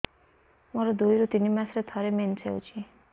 ମୋର ଦୁଇରୁ ତିନି ମାସରେ ଥରେ ମେନ୍ସ ହଉଚି